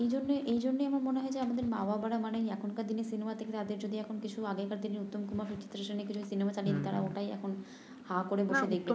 এইজন্য এইজন্যই আমার মনে হয় আমাদের মা বাবারা মানেই এখনকার দিনের সিনেমা থেকে যদি তাদেরকে কিছু আগেরকার দিনের উত্তম কুমার সুচিত্রা সেনের কিছু সিনেমা চালিয়ে দেই তারা ওটাই এখন হা করে বসে দেখবে